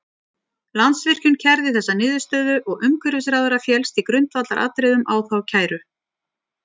Landsvirkjun kærði þessa niðurstöðu og umhverfisráðherra féllst í grundvallaratriðum á þá kæru.